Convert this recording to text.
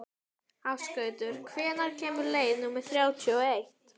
Ásgautur, hvenær kemur leið númer þrjátíu og eitt?